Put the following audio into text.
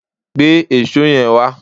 Gbé èṣó yẹn wá!